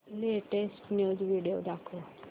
latest news video दाखव